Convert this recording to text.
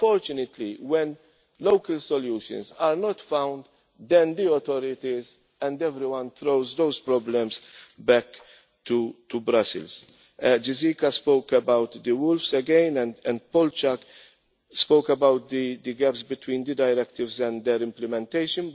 Unfortunately, when local solutions are not found, then the authorities and everyone throws those problems back to Brussels. Mr Gieseke spoke about the wolves again and Mr Stanislav Polčák spoke about the gaps between the directives and their implementation.